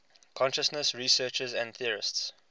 consciousness researchers and theorists